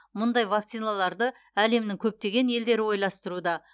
мұндай вакциналарды әлемнің көптеген елдері ойластыруда